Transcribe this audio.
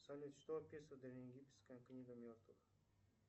салют что описывает древнеегипетская книга мертвых